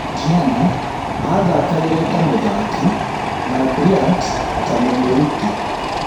Gianna athakagira ta mũthaki na Bryant ta mũmũruti